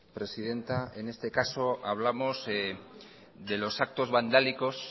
presidenta en este caso hablamos de los actos vandálicos